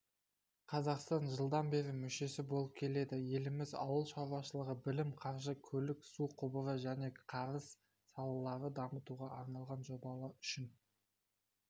қазақстан жылдан бері мүшесі болып келеді еліміз ауыл шаруашылығы білім қаржы көлік су құбыры және кәріз салаларын дамытуға арналған жобалар үшін